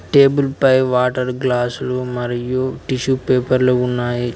Table పై water గ్లాసులు మరియు టిష్యూ పేపర్లు ఉన్నాయి.